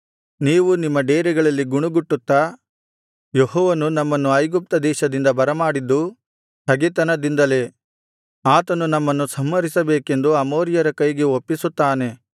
ನೀವು ನಿಮ್ಮ ಡೇರೆಗಳಲ್ಲಿ ಗುಣುಗುಟ್ಟುತ್ತಾ ಯೆಹೋವನು ನಮ್ಮನ್ನು ಐಗುಪ್ತದೇಶದಿಂದ ಬರಮಾಡಿದ್ದು ಹಗೆತನದಿಂದಲೇ ಆತನು ನಮ್ಮನ್ನು ಸಂಹರಿಸಬೇಕೆಂದು ಅಮೋರಿಯರ ಕೈಗೆ ಒಪ್ಪಿಸುತ್ತಾನೆ